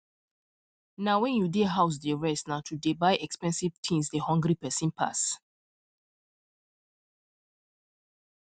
na wen you dey house dey rest na to dey buy expensive things dey hungry person pass